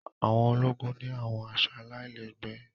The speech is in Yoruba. àwọn ologun ni àwọn aṣọ àlailẹgbẹ